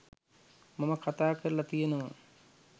මම කතා කරල තියනව.